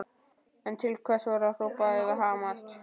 En til hvers var að hrópa eða hamast?